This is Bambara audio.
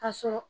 Ka sɔrɔ